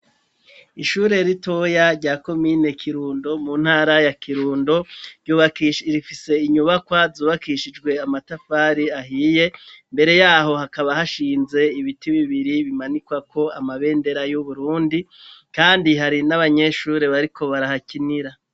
Ishure ritoya rya komine Kirundo mu ntara ya Kirundo .Rifise inyubakwa zubakishijwe amatafari ahiye mbere yaho hakaba hashinze ibiti bibiri bimanikwa ko amabendera y'uburundi kandi hari n'abanyeshure bariko barahakinira.